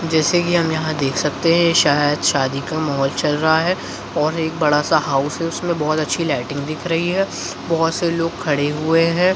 जैसे कि हम यहाँ देख सकते है शायद शादी का माहौल चल रहा है और एक बड़ा सा हाउस है उसमें बहुत अच्छी लाइटिंग दिख रही है बहुत से लोग खड़े हुए है।